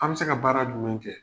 An bɛ se ka baara jumɛn kɛ?